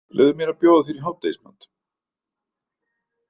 Leyfðu mér að bjóða þér í hádegismat.